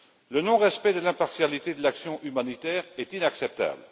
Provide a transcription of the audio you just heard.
Le non-respect de l'impartialité de l'action humanitaire est inacceptable.